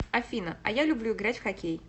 афина а я люблю играть в хоккей